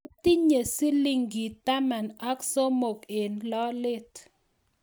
atinye siling taman ak somok eng' lolet